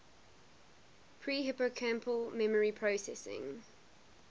pre hippocampal memory processing